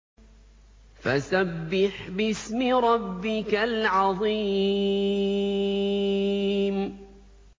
فَسَبِّحْ بِاسْمِ رَبِّكَ الْعَظِيمِ